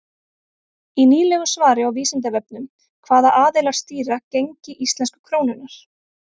Í nýlegu svari á Vísindavefnum Hvaða aðilar stýra gengi íslensku krónunnar?